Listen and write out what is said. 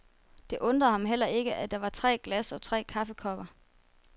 Det undrede ham heller ikke, at der var tre glas og tre kaffekopper.